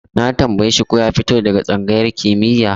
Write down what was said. Na tambaye shi ko ya fito daga tsangayar kimiyya?